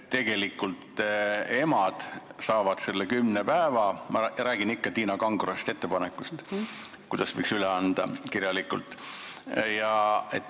Tegelikult emad saavad need kümme päeva – ma räägin ikka Tiina Kangro ettepanekust –, mille võiks kirjalikult üle anda.